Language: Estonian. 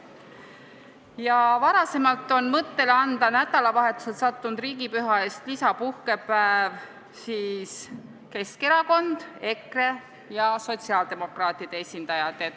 Varem on peale sotsiaaldemokraatide toetanud mõtet anda nädalavahetusele sattunud riigipüha eest lisapuhkepäev ka Keskerakond ja EKRE.